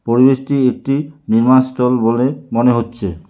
পরিবেশটি একটি নির্মাণ স্টল বলে মনে হচ্ছে।